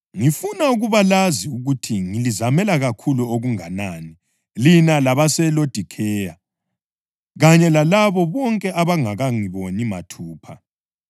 Ngifuna ukuba lazi ukuthi ngilizamela kakhulu okunganani lina labaseLodikheya, kanye labo bonke abangakangiboni mathupha.